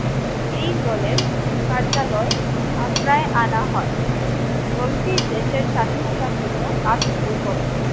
এই দলের কার্যালয় আগ্রায় আনা হয় চলতি দেশের স্বাধীনতার জন্য কাজ শুরু করে।